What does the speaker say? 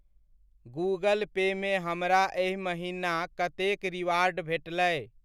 Google Pay मे हमरा एहि महिना कतेक रिवार्ड भेटलै?